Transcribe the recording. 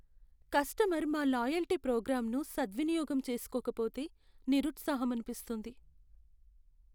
Customer మా loyalty ప్రోగ్రామ్ను సద్వినియోగం చేసుకోకపోతే నిరుత్సాహమనిపిస్తుంది.